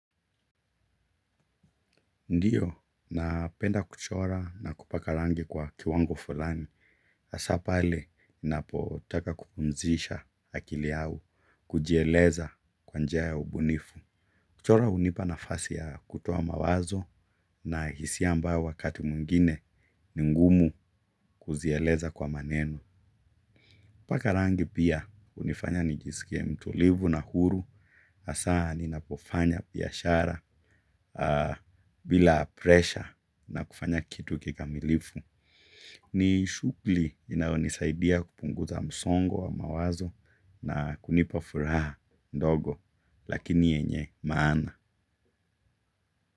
Ndiyo, napenda kuchora na kupaka rangi kwa kiwango fulani. Hasa pale, ninapotaka kupumzisha akili au, kujieleza kwa njiya ya ubunifu. Kuchora unipa nafasi ya kutowa mawazo na hisia ambayo wakati mwingine, ni ngumu kuzieleza kwa maneno. Kupaka rangi pia, unifanya nijisike mtulivu na huru. Asa ni napofanya pihashara bila presha na kufanya kitu kikamilifu. Ni shughuli inayonisaidia kupunguza msongo wa mawazo na kunipa furaha ndogo lakini yenye maana.